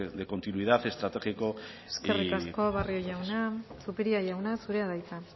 de continuidad estratégico y eskerrik asko barrio jauna zupiria jauna zurea da hitza